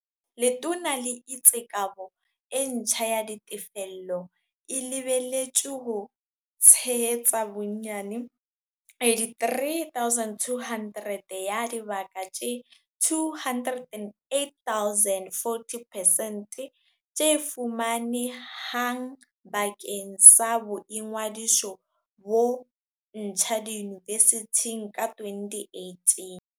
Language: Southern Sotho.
Letona le itse kabo e ntjha ya ditefello e lebeletswe ho tshe hetsa bonyane 83 200 ya dibaka tse 208 000, 40 percent, tse fumane hang bakeng sa boingodiso bo ntjha diyunivesithing ka 2018.